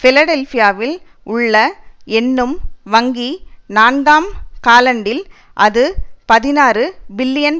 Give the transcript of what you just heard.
பிலடெல்பியாவில் உள்ள என்னும் வங்கி நான்காம் காலண்டில் அது பதினாறு பில்லியன்